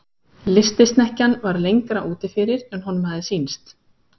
Lystisnekkjan var lengra úti fyrir en honum hafði sýnst.